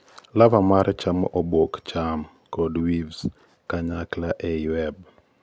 larvae mare chamo obok cham kod weaves kanyakla ei web